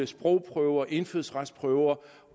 sprogprøver indfødsretsprøver